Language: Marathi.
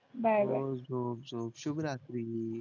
बाय बाय झोप झोप झोप शुभ रात्री